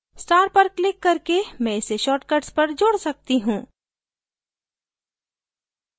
star पर click करके मैं इसे shortcuts पर जोड़ सकती हूँ